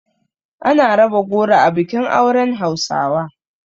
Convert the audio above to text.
Ana raba goro a bikin auren hausawa.